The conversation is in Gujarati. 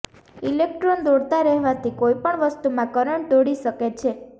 ઇલેક્ટ્રોન દોડતા રહેવાથી કોઈપણ વસ્તુમાં કરંટ દોડી શકે છે